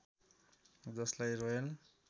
जसलाई रोयल